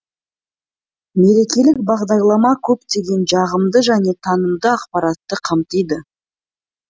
мерекелік бағдарлама көптеген жағымды және танымды ақпаратты қамтиды